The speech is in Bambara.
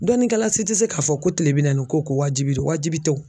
Dɔnnikɛla si tɛ se k'a fɔ ko tile bi naaniko ko wajibi de don wajibi tɛ o